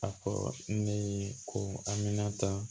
A fɔ ne ye ko amina ta